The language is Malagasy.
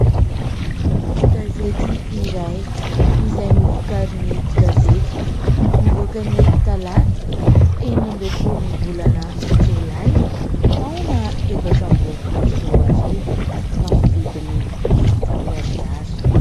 Gazety iray izay novokarin'ny gazetiko nivoaka ny talata enina ambinifolo ny volana jolay taona efatra amby roapolo sy roa arivo tamin'ny vidiny dimanjato ariary.